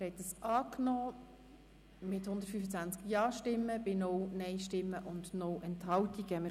Sie haben dieses Postulat mit 125 Ja- gegen 0 Nein-Stimmen bei 0 Enthaltungen angenommen.